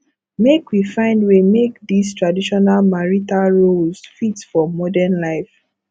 make we find way make dese traditional marital roles fit for modern life